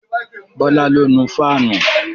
Bọlá ló nu fáànù